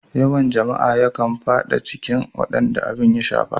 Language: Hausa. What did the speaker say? Yawan jama'a yakan fada cikin wadanda abin ya shafa.